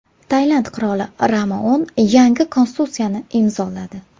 Tailand qiroli Rama X yangi konstitutsiyani imzoladi.